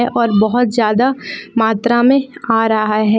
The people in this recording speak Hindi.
और बहुत ज्यादा मात्रा में आ रहा है।